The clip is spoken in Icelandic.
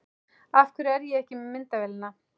Af hverju er ég ekki með myndavélina?